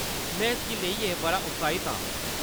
में इसगी लेइयै बड़ा उत्साहित आं।